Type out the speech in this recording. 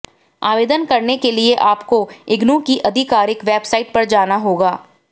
आवेदन करने के लिए आपको इग्नू की आधिकारिक वेबसाइट पर जाना होगा